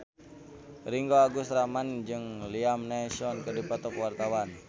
Ringgo Agus Rahman jeung Liam Neeson keur dipoto ku wartawan